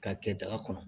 K'a kɛ daga kɔnɔ